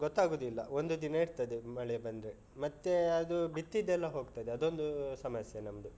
ಗೊತ್ತಾಗುದಿಲ್ಲ ಒಂದು ದಿನ ಇರ್ತದೆ ಮಳೆ ಬಂದ್ರೆ ಮತ್ತೆ ಅದು ಬಿತ್ತಿದ್ದೆಲ್ಲ ಹೋಗ್ತದೆ ಅದೊಂದು ಸಮಸ್ಯೆ ನಮ್ದು.